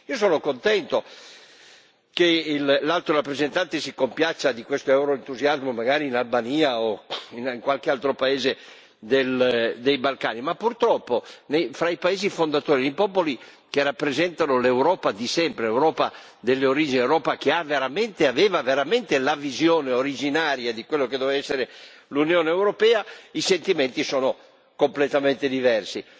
Sono contento che l'Alto rappresentante si compiaccia di questo euroentusiasmo, magari in Albania o in qualche altro paese dei Balcani. Ma purtroppo, fra i paesi fondatori, i popoli che rappresentano l'Europa di sempre, l'Europa delle origini, l'Europa che aveva veramente la visione originaria di quello che doveva essere l'Unione europea, i sentimenti sono completamente diversi.